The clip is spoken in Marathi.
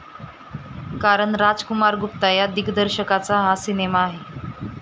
कारण राजकुमार गुप्ता या दिग्दर्शकाचा हा सिनेमा आहे.